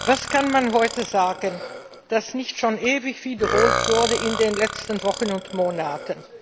Was kann man heute sagen, das nicht schon ewig wiederholt wurde in den letzten Wochen und Monaten?